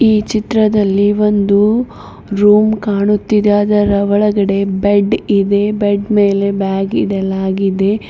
ಈ ಚಿತ್ರದಲ್ಲಿ ಒಂದು ರೂಮ್ ಕಾಣುತ್ತಿದೆ ಅದರ ಒಳಗಡೆ ಬೆಡ್ ಇದೆ ಬೆಡ್ ಮೇಲೆ ಬ್ಯಾಗ್ ಇಡಲಾಗಿದೆ.